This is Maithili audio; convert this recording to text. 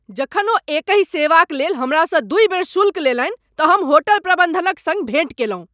जखन ओ एकहि सेवाक लेल हमरासँ दुइ बेर शुल्क लेलनि तऽ हम होटल प्रबन्धनक सङ्ग भेंट केलहुँ।